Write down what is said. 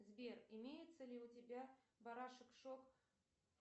сбер имеется ли у тебя барашек шок